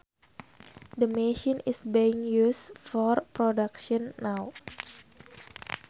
The machine is being used for production now